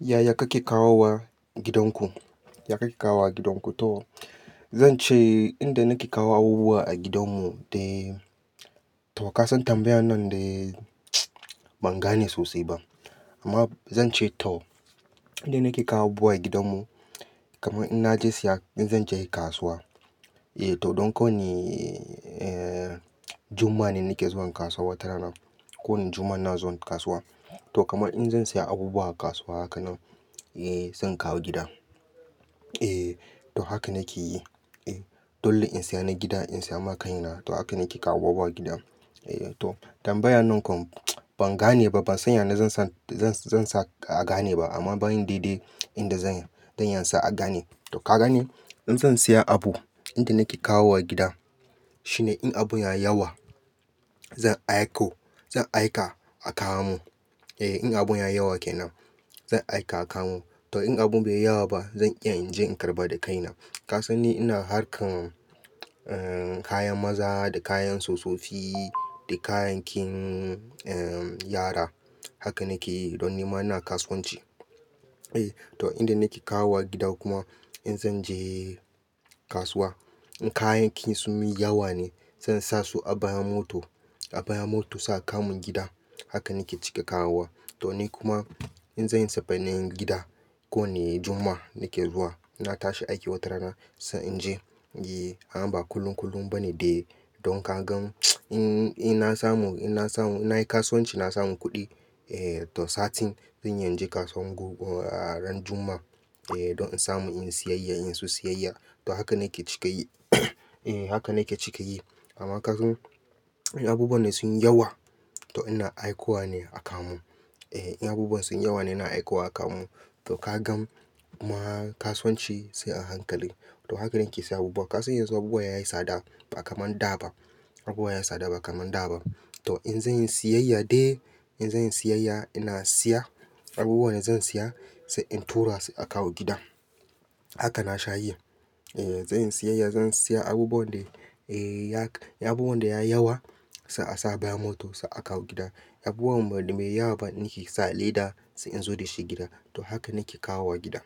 Yaya kake kawo wa gidanku? Yaya kake kawo wa gidanku to, zan ce inda nake kawo abubuwa a gidanmu dai to ka san tambayan nan dai ban gane sosai ba. Amma zan ce to, inda nake kawo buwa gidanmu, kaman in naje siya, in zan je kasuwa eh to don kowoni eh Juma'a ne nake zuwan kasuwa watarana. Kowoni Juma'a ina zuwan kasuwa. To kamar in zan siya abubuwa a kasuwa haka nan, eh zan kawo gida. Eh to haka nake yi. Eh dole in siya na gida in siya ma ƙaina. To haka nake kawo abubuwa a gida. Eh to tambayan nan kom ban gane ba. Ban san yane zan sa, zan sa a gane ba amma bari dai-dai inda zan, zan iya saya a gane. To ka gane in zan siya abu, inda nake kawo wa gida, shine in abun ya yawa zan aiko, zan aika a kawo mun. Eh in abun yayi yawa ke nan zan aika a kawo mun. To in abun bai yawa ba zan iya in je in karɓa da kaina. Ka san ni ina harkan eh kayan maza da kayan tsofafi da kaya kin eh yara. Haka nake yi, don nima ina kasuwanci. Eh to inda nake kawo wa gida kuma in zan je kasuwa, in kayakin sun mi yawa ne zan sa su a baya mota. A bayan motor za a kawo mun gida. Haka nake cika kawo wa. To ni kuma in zanyi sefenin gida, ko woni Juma'a nake zuwa, na tashi aiki watarana sai in je. Eh ama ba kullum kullum ba ne dai. Don ka gan in, in na samu, in na samu, nayi kasuwanci na samu kuɗi, eh to satin zan iya in je kasuwa ran Juma'a. Eh don in samu in siyayya, in so sayayya. To haka nake cika yi. Eh haka nake cika yi. Amma ka gan abubuwan ne sun yawa to ina aiko wa ne a kawo mun. Eh in abubuwan sun yawa ne ina aika wa a kawo mun. To ka gan kuma kasuwanci sai a hankali. To haka na ake seyan abubuwa. Ka san yanzu abubuwa ya yi tsada ba kaman da ba. Abubuwa ya yi tsada ba kamar da ba. To in zanyi siyayya dai, in zanyi siyayya ina siya abubuwan da zan siya sai in tura su a kawo gida. Haka na sha yi. Eh zanyi siyayya zan siya abubuwan da, eh ya, abubuwan da ya yawa sai a sa baya motor sai a kawo gida. Abubuwan me yawa ba nike sa leda sai in zo da shi gida. To haka nake kawo wa gida.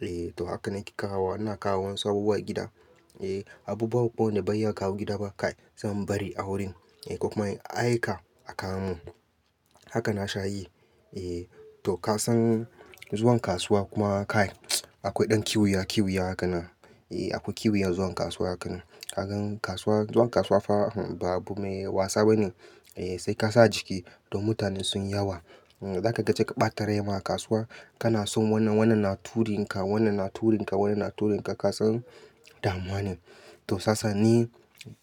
Eh to haka nake kawo wa, ina kawo wasu abubuwa gida. Eh abubuwa wan da ban iya kawo gida ba kai zan bari a wurin eh ko kuma aika a kawo mun. Haka na sha yi. Eh to ka san zuwan kasuwa kuma kai akoi ɗan kiwuya kiwuya haka nan. Eh akoi kiwuya zuwan kasuwa haka nan. Ka gan kasuwa, zuwan kasuwa fa ba abu me wasa bane. Eh sai ka sa jiki don mutanen sunyi yawa. Zaka je ka ɓata rai ma a kasuwa. Kana son wannan wannan na turinka, wannan na turinka, wannan na turinka ka san damuwa ne. To sasa ni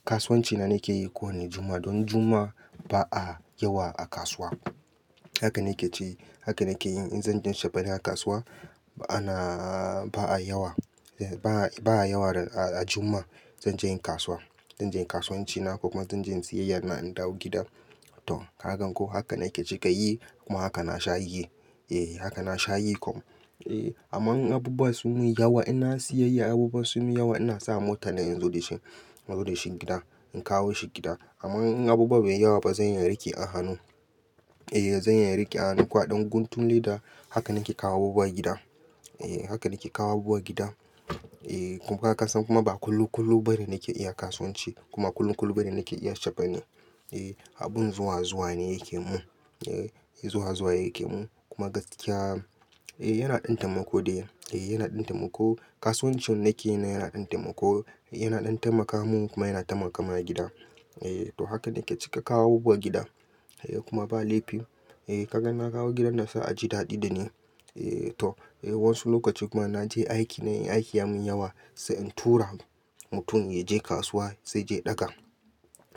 kasuwanci na nake yi kowoni Juma'a don Juma'a ba a yawa a kasuwa. Haka nake tayi, haka nake yin in zan je cefene kasuwa. Ba na, ba a yawa. Ba a, ba a yawa a Juma'a. Zan je yin kasuwa. Zan je yin kasuwanci na kuma zan je yin sayayya na in dawo gida. To ka gan ko haka nake cika yi kuma haka na sha yi. Eh haka na sha yi kam. Eh aman abubuwa sun mun yawa, ina siyayya abubuwa sun min yawa ina sa mota na in zo da shi, in zo da shi gida. In kawo shi gida. Aman in abubuwa bai yi yawa ba zan iya in riƙe a hannu. Eh zan iya in riƙe a hannun ko a ɗan guntun leda. Haka nake kawo abubuwa gida. Eh haka nake kawo abubuwa gida. Eh kuma ka san ba kuma ba kullum kullum ba ne nake iya kasuwanci. Kuma kullum kullum ba ne nake iya cefene. Eh abun zuwa zuwa ne yake mun. Eh zuwa zuwa yake mun. Kuma gaskiya, eh yana ɗan taimako dai. Eh yana ɗan taimako. Kasuwanci wan nake yana ɗan taimako. Yana ɗan taimaka mun kuma yana taimakawa gida. Eh to haka nake cika kawo abubuwa gida. Eh kuma ba laifi. Eh ka gan in ba kawo gidan nan sai a ji daɗi dani. Eh to eh wosu lokaci kuma naje aiki ne aiki ya mun yawa sai in tura mutum yaje kasuwa sai yaje ɗaga.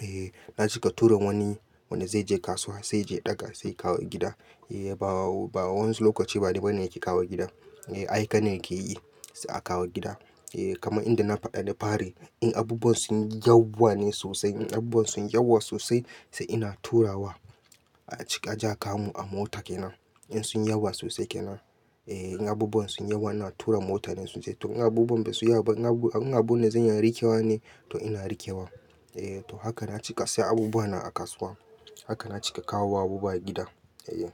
Eh na cika tura woni, wanda zai je kasuwa sai ya je ɗaga sai kawo gida. Eh ba, ba wosu lokaci ba ni bane nake kawo gidan. Eh aika ne yake yi sai a kawo gida. Eh kaman inda na faɗa da fari in abubuwan sunyi yawa ne sosai, in abubuwa sun yawa sosai sai ina turawa a cika je a kawo mun a mota ke nan. In sun yawa sosai ke nan. Eh in abubuwan sun yewa ina tura mota ne su je. To in abubuwa bai su yawa ba, in abubuwan, in abunda zan iya in riƙewa ne to ina riƙewa. Eh to haka na cika siya abubuwa na a kasuwa. Haka na cika kawo abubuwa gida. Yaya.